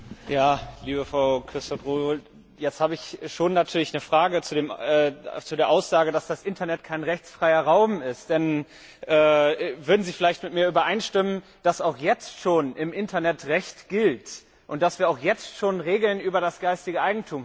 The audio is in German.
Liebe Frau Quisthoudt Rowohl, jetzt habe ich natürlich schon eine Frage zu der Aussage, dass das Internet kein rechtsfreier Raum ist. Würden Sie vielleicht mit mir übereinstimmen, dass auch jetzt schon im Internet Recht gilt und dass wir auch jetzt schon Regeln für das geistige Eigentum haben?